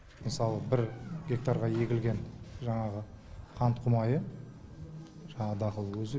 мысалы бір гектарға егілген жаңағы қант құмайы жаңағы дақыл өзі